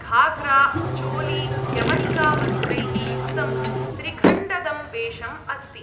घाग्रा, चोली, यवनिका वस्त्रैः युक्तं त्रिखण्डं वेषम् अस्ति।